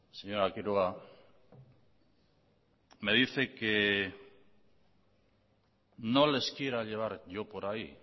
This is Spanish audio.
señora quiroga me dice que no les quiera llevar yo por ahí